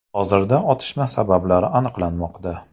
Hozirda otishma sabablari aniqlanmoqda.